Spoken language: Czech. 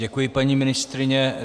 Děkuji, paní ministryně.